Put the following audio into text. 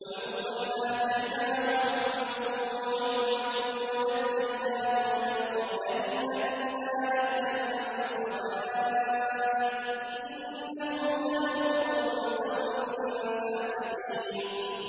وَلُوطًا آتَيْنَاهُ حُكْمًا وَعِلْمًا وَنَجَّيْنَاهُ مِنَ الْقَرْيَةِ الَّتِي كَانَت تَّعْمَلُ الْخَبَائِثَ ۗ إِنَّهُمْ كَانُوا قَوْمَ سَوْءٍ فَاسِقِينَ